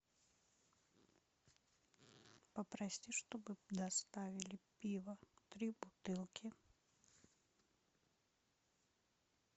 попроси чтобы доставили пиво три бутылки